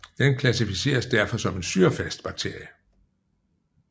Den klassificeres derfor som en syrefast bakterie